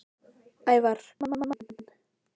Ævar, hvað er í matinn?